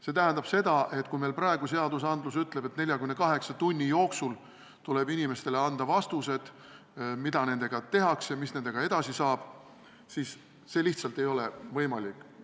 See tähendab seda, et kui meil praegu seadus ütleb, et 48 tunni jooksul tuleb inimestele anda vastused, mida nendega tehakse, mis nendest edasi saab, siis see lihtsalt ei ole võimalik.